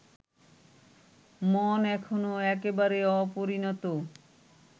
মন এখনো একেবারে অপরিণত